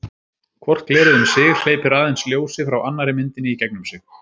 Hvort glerið um sig hleypir aðeins ljósi frá annarri myndinni í gegnum sig.